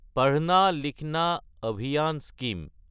পাধনা লিখনা অভিযান স্কিম